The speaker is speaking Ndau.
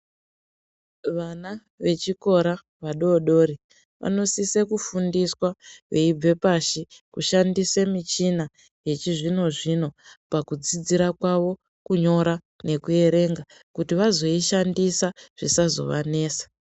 Vana vechikora vadodori vanosisa kufundiswa veibve pashi kushandisa michina yechizvino zvino ,pakudzidzira kwavo kunyora nekuerenga kuti vazoishandisa zvisazovanetsa .